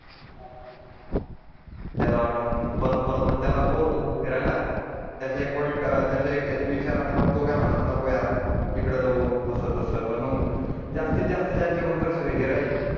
त्याला वाटण परत परत बोर होईल न फिरायला त्याचा एक पॉइंट त्याचा एक विचारान तो काय म्हणल नको यार इकडे जाऊ अस तस मग जास्तीत जास्त ज्यांच्या कडून ही राहील